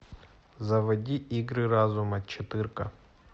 заводи игры разума четырка